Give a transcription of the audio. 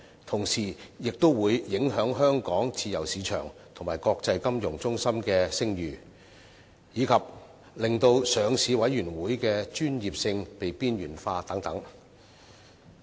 同時，亦會影響香港自由市場及國際金融中心的聲譽，以及令上市委員會的專業性被邊緣化等。